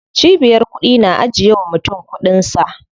Cibiyar kuɗi na ajiye wa mutum kuɗin sa.